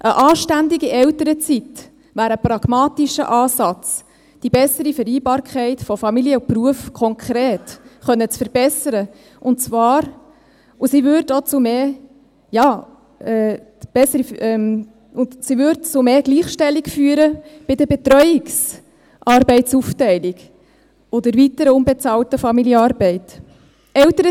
Eine anständige Elternzeit wäre ein pragmatischer Ansatz, die bessere Vereinbarkeit von Familie und Beruf konkret verbessern zu können, und sie würde zu mehr Gleichstellung bei der Betreuungsarbeitsaufteilung und bei der weiteren unbezahlten Familienarbeit führen.